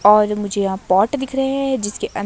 और मुझे यहा पॉट दिख रहे हैं जिसके--